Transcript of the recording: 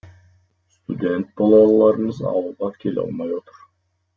студент балаларымыз ауылға келе алмай отыр